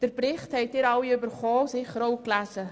Den Bericht haben alle erhalten und gelesen.